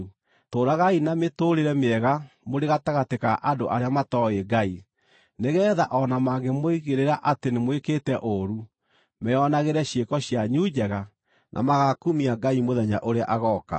Tũũragai na mĩtũũrĩre mĩega mũrĩ gatagatĩ ka andũ arĩa matooĩ Ngai, nĩgeetha o na mangĩmũigĩrĩra atĩ nĩmwĩkĩte ũũru, meonagĩre ciĩko cianyu njega na magakumia Ngai mũthenya ũrĩa agooka.